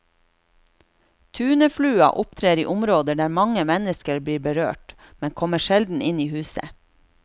Tuneflua opptrer i områder der mange mennesker blir berørt, men kommer sjelden inn i huset.